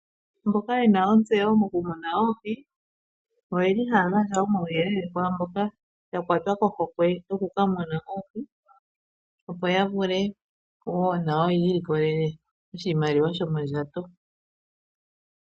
Mboka yena ontseyo mokumona oohi, oyeli haa gandja uuyelele kwaamboka yena ohokwe yokumuna oohi opo yavule woo na yo yii likolele oshimaliwa shomondjato.